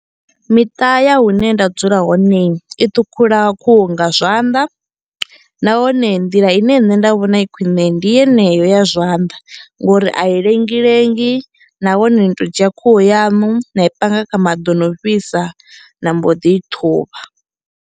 Miṱa ya hune nda dzula hone i ṱhukhula khuhu nga zwanḓa nahone nḓila ine nṋe nda vhona i khwine ndi yeneyo ya zwanḓa ngori a i lengi lengi nahone ni to dzhia khuhu yaṋu na i panga kha maḓi o no fhisa na mbo ḓi I ṱhuvha.